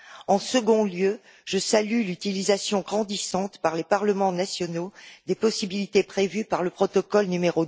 En second lieu, je salue l'utilisation grandissante par les parlements nationaux des possibilités prévues par le protocole n°